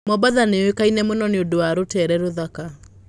Mombatha nĩ yũĩkaine mũno nĩ ũndũ wa rũteere rũthaka.